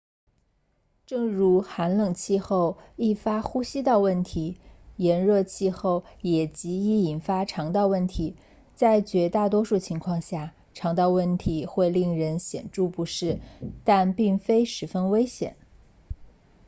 正如寒冷气候易发呼吸道问题炎热气候也极易引发肠道问题在绝大多数情况下肠道问题会令人显著不适但并非十分危险